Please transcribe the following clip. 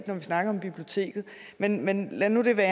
når vi snakker om biblioteket men men lad nu det være